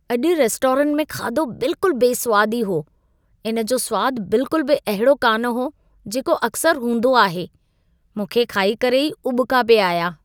अॼु रेस्टोरेंटु में खाधो बिल्कुल बेसवादी हो। इन जो सुवादु बिल्कुल बि अहिड़ो कान हो, जेको अक्सर हूंदो आहे। मूंखे खाई करे ई उॿिका पिए आया।